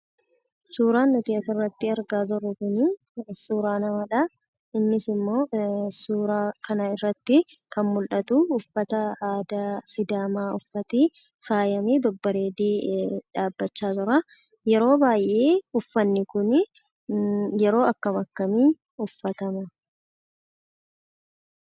Suuraa nuyi as, irratti argina jirru kun, suuraa namadha. innis immo suuraa kana irratti kan mul'atu, uffata aadaa sidaama uffate faayamee, babbareede dhabbacha jira. yeroo baay'ee uffanni kunii, yeroo akkami, akkamii, uffatama?